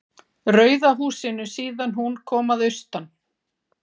Rauða húsinu síðan hún kom að austan.